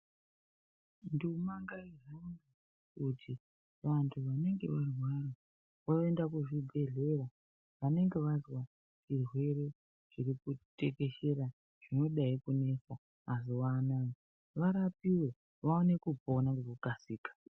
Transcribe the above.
Nduma ngaihambe kuti vanhu vanenge varwara vaende kuzvibhehlera .Vanenge vazwa zvirwere zviri kutekeshers, zvinodayi kunesa mazuwa anaa, varapiwe vaone kupona ngekukasika.